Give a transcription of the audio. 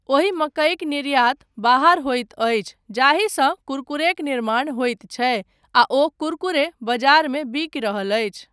ओहि मकइक निर्यात बाहर होइत अछि जाहिसँ कुरकुरेक निर्माण होइत छै आ ओ कुरकुरे बजारमे बिकि रहल अछि ,